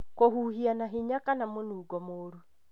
Kũhuhia na hinya kana mũnungo mũũru,